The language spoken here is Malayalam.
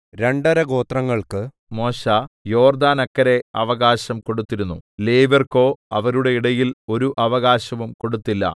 രണ്ടര ഗോത്രങ്ങൾക്ക് മോശെ യോർദ്ദാനക്കരെ അവകാശം കൊടുത്തിരുന്നു ലേവ്യർക്കോ അവരുടെ ഇടയിൽ ഒരു അവകാശവും കൊടുത്തില്ല